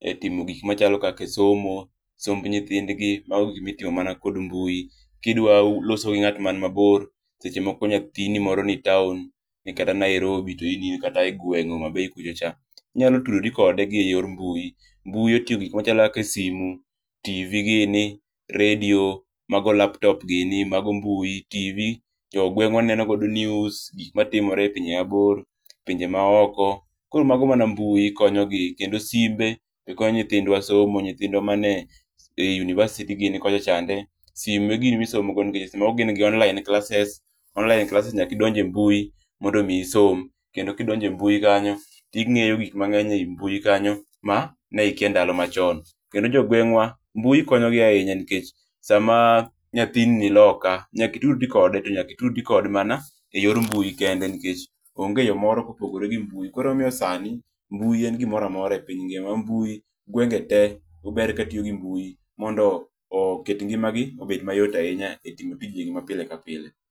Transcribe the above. e timo gik machalo kaka somo, somb nyithindgi mago gikma itimo mana kod mbui. Kidwa loso gi ngat mani mabor, seche moko nyathini ni town ni kaka Nairobi to in ine gweng Homabay kucho cha, inya tudore kode kokalo mbui. Mbui otingo gik machalo kaka simu ,TV gini, redio, mago laptop gini mago mbui. TV jo gwengwa neno godo news, gikma timore e pinje mabor, pinje maoko, koro mago mana mbui konyogi. Kendo simbe be konyo nyithindwa somo, nyithindwa mane e university gini kocha chande, simu ema gitiyo godo e somo nikech gin gi online classes ,online classes nyaka idonj e mbui mondo mii isom kendo kidonje mbui kanyo tingeyo gik mangeny ei mbui kanyo mane ikia e ndalo machon. Kendo e gwengwa, mbui konyogi nikech sama nyathini ni loka nyaka itudri kode, to nyaka itudri kode mana e mbui kende nikech onge yoo moro kopogore gi mbui koro omiyo sani mbui en gimoro amora e piny ngima, ma mbui gwenge tee ber katiyo gi mbui mondo oket ngimagi obed mayot ahinya e timo tijegi ma pile ka pile